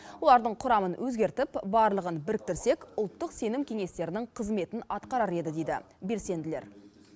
олардың құрамын өзгертіп барлығын біріктірсек ұлттық сенім кеңестерінің қызметін атқарар еді дейді белсенділер